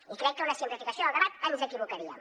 i crec que amb una simplificació del debat ens equivocaríem